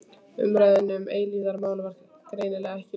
Umræðunni um eilífðarmálið var greinilega ekki lokið.